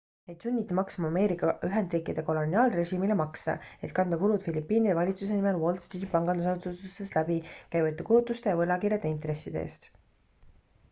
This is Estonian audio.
neid sunniti maksma ameerika ühendriikide koloniaalrežiimile makse et kanda kulud filipiinide valitsuse nimel wall streeti pangandusasutustest läbi käivate kulutuste ja võlakirjade intresside eest